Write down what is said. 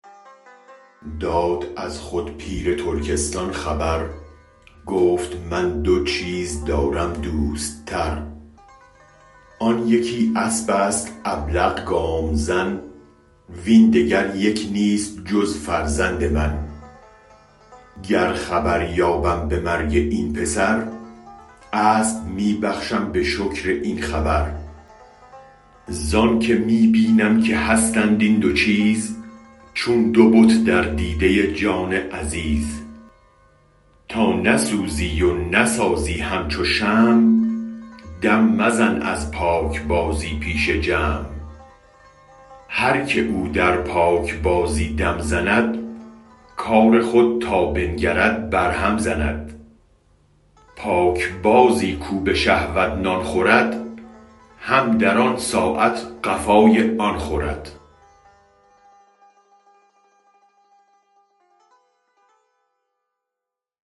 داد از خود پیر ترکستان خبر گفت من دو چیزدارم دوست تر آن یکی اسبست ابلق گام زن وین دگر یک نیست جز فرزند من گر خبر یابم به مرگ این پسر اسب می بخشم به شکر این خبر زانک می بینم که هستند این دو چیز چون دو بت در دیده جان عزیز تا نسوزی و نسازی همچو شمع دم مزن از پاک بازی پیش جمع هرک او در پاک بازی دم زند کار خود تا بنگرد بر هم زند پاک بازی کو به شهوت نان خورد هم در آن ساعت قفای آن خورد